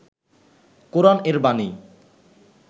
কোরআন এর বাণী